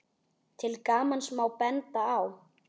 Til gamans má benda á